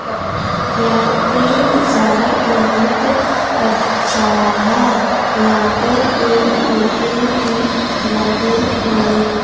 यहां पे नेजारा बहुत अच्छा है यहां पे पेड़ पौधे भी लगे हुए--